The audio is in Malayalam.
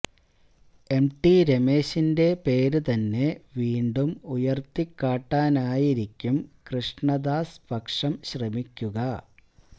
എംടി രമേശിന്റെ പേര് തന്നെ വീണ്ടും ഉയര്ത്തിക്കാട്ടാനായിരിക്കും കൃഷ്ണദാസ് പക്ഷം ശ്രമിക്കുക